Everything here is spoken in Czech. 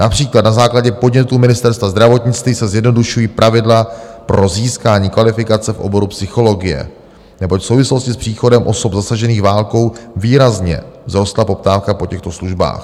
Například na základě podnětu Ministerstva zdravotnictví se zjednodušují pravidla pro získání kvalifikace v oboru psychologie, neboť v souvislosti s příchodem osob zasažených válkou výrazně vzrostla poptávka po těchto službách.